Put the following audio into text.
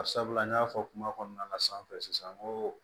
Barisabula n y'a fɔ kuma kɔnɔna na sanfɛ sisan n ko